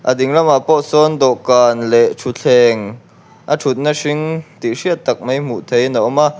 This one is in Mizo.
a ding lamah pawh sawn dawhkan leh thutthleng a thutna hring tih hriat tak mai hmuh theihin a awm a.